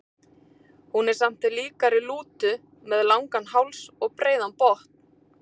Hún er samt líkari lútu, með langan háls og breiðan botn.